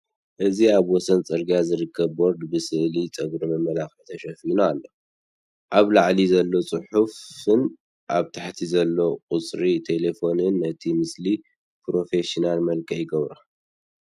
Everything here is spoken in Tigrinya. እዚ ኣብ ወሰን ጽርግያ ዝርከብ ቦርድ ብስእሊ ጸጉርን መመላኽዕን ተሸፊኑ ኣሎ። ኣብ ላዕሊ ዘሎ ጽሑፍን ኣብ ታሕቲ ዘሎ ቁጽሪ ተሌፎንን ነቲ ምስሊ ፕሮፌሽናል መልክዕ ይህቦ።